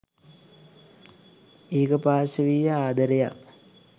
ඒකපාර්ශවීය ආදරයක්.